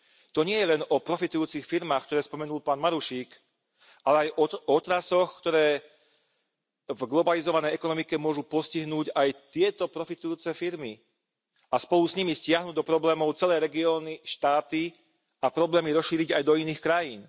To nie je len o profitujúcich firmách, ktoré spomenul pán Marušík, ale aj o otrasoch, ktoré v globalizovanej ekonomike môžu postihnúť aj tieto profitujúce firmy a spolu s nimi stiahnuť do problémov celé regióny, štáty a problémy rozšíriť aj do iných krajín.